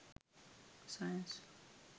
science